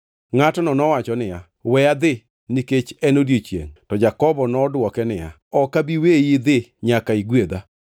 Ngʼatno nowacho niya, “We adhi, nikech en odiechiengʼ.” To Jakobo nodwoke niya, “Ok abi weyi idhi nyaka igwedha.”